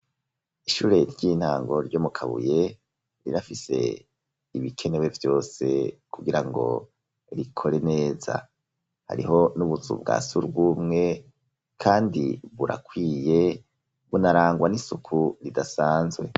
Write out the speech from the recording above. Ishure ry'intango ryo mu Kabuye rirafise ibikenewe vyose kugira ngo rikore neza ,hariho n'utuzu twa surwumwe kandi burakwiye bunarangwa n'isuku ridasanzwe.